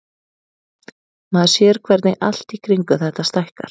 Maður sér hvernig allt í kringum þetta stækkar.